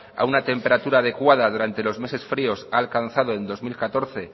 a una temperatura adecuada durante los meses fríos ha alcanzado en dos mil catorce